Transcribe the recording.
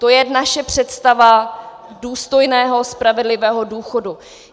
To je naše představa důstojného, spravedlivého důchodu.